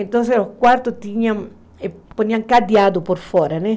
Então, os quartos tinham cadeado por fora, né?